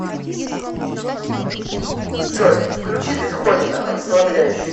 джой включи бетховена расслабляющую